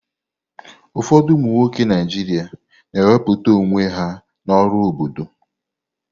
Ụfọdụ ụmụ nwoke Naijiria na wepụta onwe ha n'ọrụ obodo.